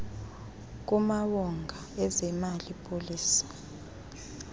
kumawonga ezemali policy